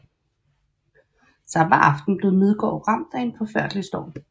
Samme aften blev Midgård ramt af en forfærdelig storm